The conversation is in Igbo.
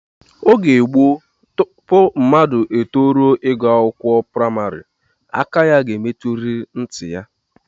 Oge gboo, tupu mmadụ etoruo ịgụ akwụkwọ n'ụlọakwụkwọ praịmarị, aka ya ga-emetụrịrị ntị ya